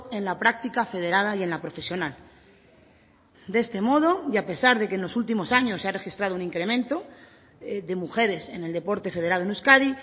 en la práctica federada y en la profesional de este modo y a pesar de que en los últimos años se ha registrado un incremento de mujeres en el deporte federado en euskadi